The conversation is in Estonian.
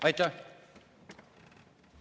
Aitäh!